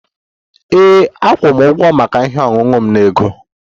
Ee, akwụ m ụgwọ maka ihe ọṅụṅụ m na ego